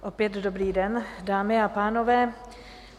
Opět dobrý den, dámy a pánové.